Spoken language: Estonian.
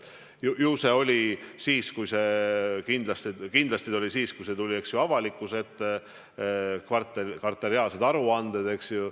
Ju see oli siis, kindlasti oli siis, kui tulid avalikkuse ette kvartaalsed aruanded, eks.